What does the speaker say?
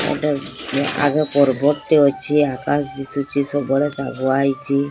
ଗୋଟେ ଆଗେ ପର୍ବତ୍ ଟେ ଅଛି ଆକାଶ ଦିଶୁଚି ସବୁଆଡେ ଶାଗୁଆ ହେଇଚି।